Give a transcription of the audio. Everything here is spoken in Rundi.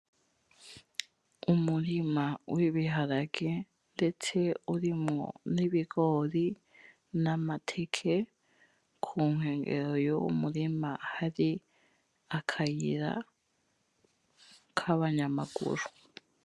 Umurima w’ibirahage ndetse urimwo n’ibigori, n’amateke kunkenyero z’uwo murima hari akayira k’abanyamaguru.